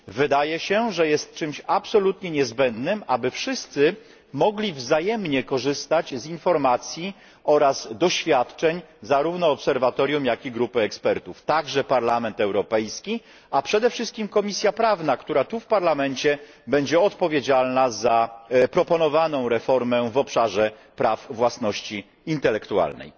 Wydaje się, że jest czymś absolutnie niezbędnym, aby wszyscy mogli wzajemnie korzystać z informacji oraz doświadczeń zarówno obserwatorium jak i grupy ekspertów, także Parlament Europejski, a przede wszystkim Komisja Prawna, która tu w Parlamencie będzie odpowiedzialna za proponowaną reformę w obszarze praw własności intelektualnej.